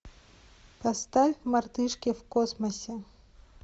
поставь мартышки в космосе